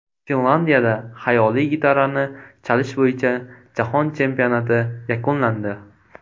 Finlyandiyada xayoliy gitarani chalish bo‘yicha jahon chempionati yakunlandi .